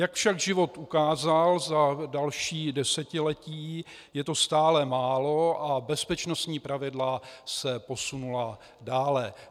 Jak však život ukázal za další desetiletí, je to stále málo a bezpečnostní pravidla se posunula dále.